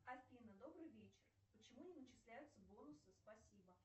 афина добрый вечер почему не начисляются бонусы спасибо